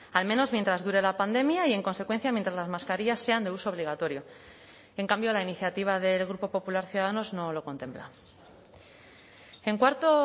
al menos mientras dure la pandemia y en consecuencia mientras las mascarillas sean de uso obligatorio en cambio la iniciativa del grupo popular ciudadanos no lo contempla en cuarto